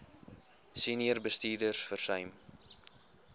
senior bestuurders versuim